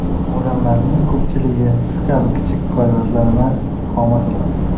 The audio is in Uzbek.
Odamlarning ko‘pchiligi shu kabi kichik kvartiralardan istiqomat qiladi.